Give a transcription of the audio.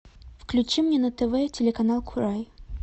включи мне на тв телеканал курай